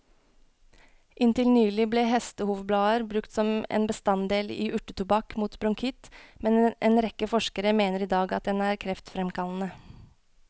Inntil nylig ble hestehovblader brukt som en bestanddel i urtetobakk mot bronkitt, men en rekke forskere mener i dag at den er kreftfremkallende.